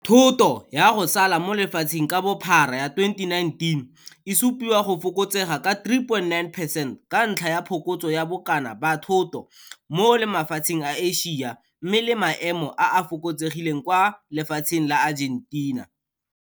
Thoto ya go sala mo lefatsheng ka bophara ya 2019 e supiwa go fokotsega ka 3,9 percent ka ntlha ya phokotso ya bokana ba thoto mo mafatsheng a Asia mme le maemo a a fokotsegileng kwa lefatsheng la Argentina.